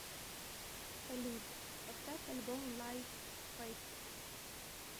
салют поставь альбом лайв фэст